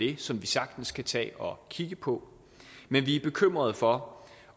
det som vi sagtens kan tage og kigge på men vi er bekymrede for